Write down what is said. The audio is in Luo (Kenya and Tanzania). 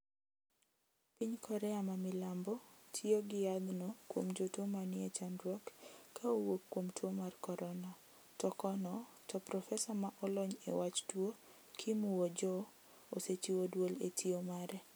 Piny korea ma milambo tiyo gi yath no kuom jotuo ma nie chandruok ka owuok kuom tuo mar corona to kono to profesa ma olony e wach tuo kim woo joo osechiwo duol e tiyo mare